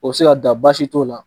O be se ka da, baasi si t'o la.